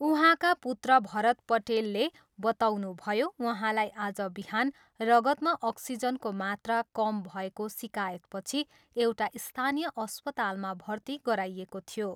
उहाँका पुत्र भरत पठेलले बताउनुभयो, उहाँलाई आज बिहान रगतमा अक्सिजनको मात्रा कम भएको सिकायतपछि एउटा स्थानीय अस्पतालमा भर्ती गराइएको थियो।